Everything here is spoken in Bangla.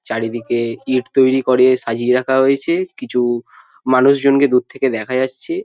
চারিদিকে ইট তৈরি করে সাজিয়া রাখা হয়েছে। কিছু মানুষ জনকে দূর থেকে দেখা যাচ্ছে।